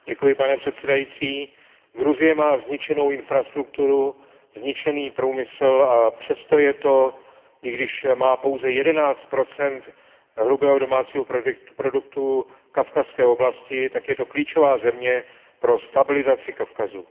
Pane předsedající, Gruzie má zničenou infrastrukturu, zničený průmysl a přesto je to, i když má pouze jedenáct procent hrubého domácího produktu v kavkazské oblasti, klíčová země pro stabilizaci Kavkazu.